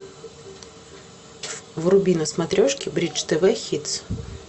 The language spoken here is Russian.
вруби на смотрешке бридж тв хитс